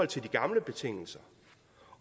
de gamle betingelser